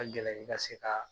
A ka gɛlɛn i ka se k'a